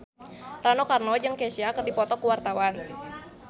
Rano Karno jeung Kesha keur dipoto ku wartawan